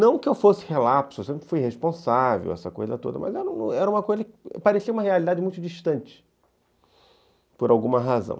Não que eu fosse relapso, eu sempre fui responsável, essa coisa toda, mas era uma coisa que parecia uma realidade muito distante, por alguma razão.